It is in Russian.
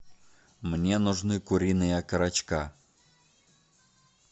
мне нужны куриные окорочка